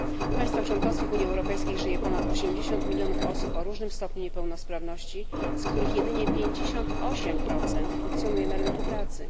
W państwach członkowskich Unii Europejskiej żyje ponad 80 mln osób o różnym stopniu niepełnosprawności, z których jedynie 58 funkcjonuje na rynku pracy.